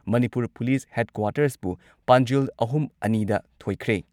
Manipur police ꯍꯦꯗꯀ꯭ꯋꯥꯔꯇꯔꯁꯄꯨ ꯄꯥꯟꯖꯤꯜ ꯑꯍꯨꯝ ꯑꯅꯤꯗ ꯊꯣꯏꯈ꯭ꯔꯦ